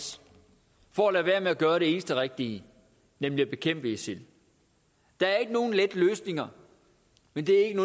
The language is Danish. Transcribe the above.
for at lade være med at gøre det eneste rigtige nemlig at bekæmpe isil der er ikke nogen lette løsninger men det er ikke